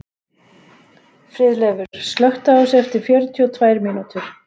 Friðleifur, slökktu á þessu eftir fjörutíu og tvær mínútur.